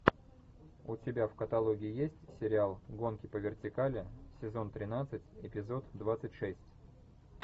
у тебя в каталоге есть сериал гонки по вертикали сезон тринадцать эпизод двадцать шесть